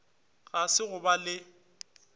ga se go ba le